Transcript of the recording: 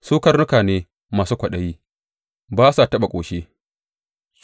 Su karnuka ne masu kwaɗayi; ba su taɓa ƙoshi.